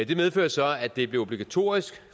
det medførte så at det blev obligatorisk